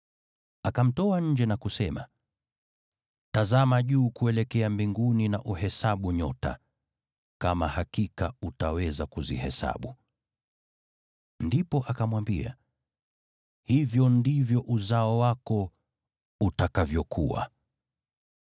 Akamtoa nje na kusema, “Tazama juu kuelekea mbinguni na uhesabu nyota, kama hakika utaweza kuzihesabu.” Ndipo akamwambia, “Hivyo ndivyo uzao wako utakavyokuwa.”